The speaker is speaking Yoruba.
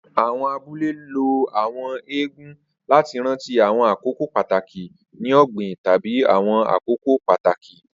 Awọn abule lo Àwọn eégún lati ranti awọn akoko pataki ni ogbin tabi awọn akoko pataki.